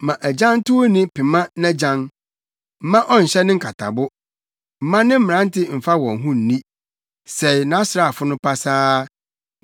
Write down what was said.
Mma agyantowni pema nʼagyan, mma ɔnhyɛ ne nkatabo. Mma ne mmerante mfa wɔn ho nni; sɛe nʼasraafo no pasaa.